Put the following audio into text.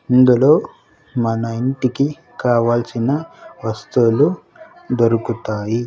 ఇందులో మన ఇంటికి కావాల్సిన వస్తువులు దొరుకుతాయి.